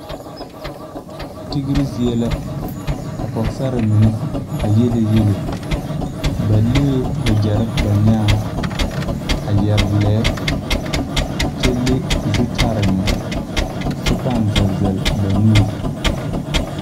Tigre zie la ka pɔgesarre mine a yiele yiele ba lee wagyɛrre ba nyaaŋ a yɛre lɛɛ kyɛ le zutarre meŋ kyɛ pãã zel zel ba nuure.